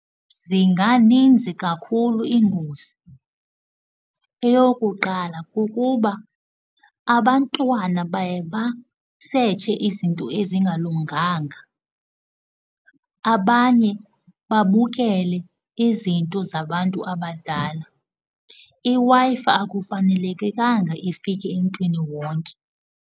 Zinganinzi kakhulu iingozi. Eyokuqala, kukuba abantwana baye basetshe izinto ezingalunganga, abanye babukele izinto zabantu abadala. IWi-Fi akufanelekekanga ifike emntwini wonke.